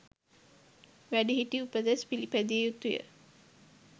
වැඩිහිටි උපදෙස් පිළිපැදිය යුතුය.